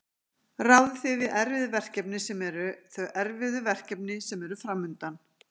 Ráðið þið við erfið verkefni sem eru, þau erfiðu verkefni sem eru framundan?